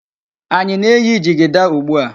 Anyi na- eyi jigida ugbu a?